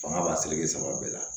Fanga b'a seleke saba bɛɛ la